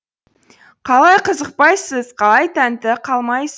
қалай қызықпайсыз қалай тәнті қалмайсыз